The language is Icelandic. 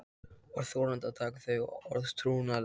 Var þorandi að taka þau orð trúanleg?